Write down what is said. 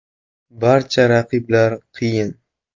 Barcha raqiblar qiyin.